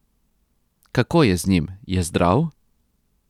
Kako je z njim, je zdrav?